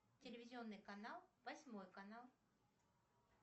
телевизионный канал восьмой канал